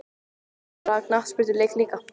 Að fara á knattspyrnuleik líka?